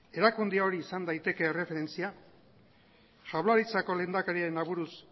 erakunde hori izan daiteke erreferentzia jaurlaritzako lehendakariaren aburuz